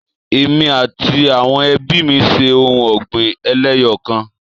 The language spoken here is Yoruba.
Èmi àti àwọn ebí mí ṣe ohun ọ̀gbìn eléyọkan